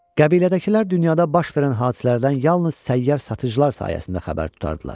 Qəbilədəkilər dünyada baş verən hadisələrdən yalnız səyyar satıcılar sayəsində xəbər tutardılar.